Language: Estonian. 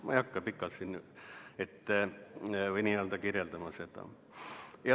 Ma ei hakka pikalt seda kirjeldama.